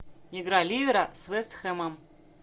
игра ливера с вест хэмом